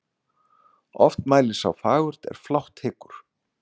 Oft mælir sá fagurt er flátt hyggur.